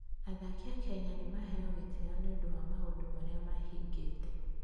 Athaki a Kenya nĩ maheo gĩtĩo nĩ ũndũ wa maũndũ marĩa mahingĩte.